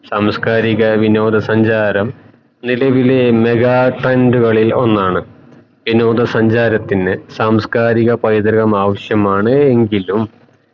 സാംസ്കാരിക വിനോദ സഞ്ചാരം നിലവിലെ mega trend ഉകളിൽ ഒന്നാണ് വിനോദ സഞ്ചാരത്തിന് സാംസ്കാരിക പൈതൃകം ആവശ്യമാണ് എങ്കിലും